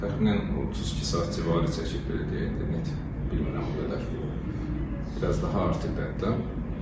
Təxminən 32 saat civarı çəkib belə deyək, dəqiq bilmirəm o qədər, biraz daha artıqdır hətta.